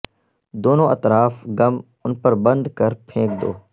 دونوں اطراف گم ان پر بند کر پھینک دو